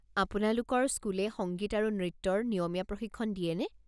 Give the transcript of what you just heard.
আপোনালোকৰ স্কুলে সংগীত আৰু নৃত্যৰ নিয়মীয়া প্ৰশিক্ষণ দিয়েনে?